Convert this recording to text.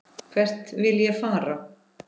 Hvert vil ég fara?